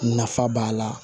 Nafa b'a la